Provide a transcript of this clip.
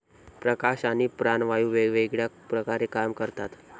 प्रकाश आणि प्राणवायू वेगवेगळ्या प्रकारे काम करतात.